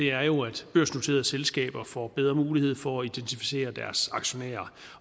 er jo at børsnoterede selskaber får bedre mulighed for at identificere deres aktionærer